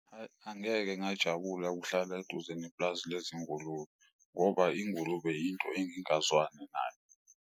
Hhayi, angeke ngajabula ukuhlala eduze nepulazi lezingulube, ngoba ingulube into engingazwani nayo.